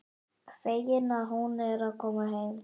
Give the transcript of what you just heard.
Fegin að hún er að koma heim.